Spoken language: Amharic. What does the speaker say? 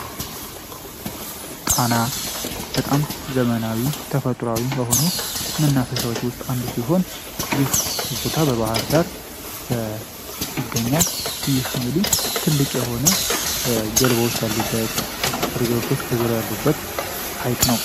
ጣና በጣም ዘመናዊ ተፈጥሮአዊ በሆኑ መናፈሻዎች ውስጥ አንዱ ሲሆን ይህ ቦታ በባህር ዳር ይገኛል። ትልቅ የሆነ ጀልባዎች አሉበት ከዙሪያ ሪዞርት ያሉበት ነው።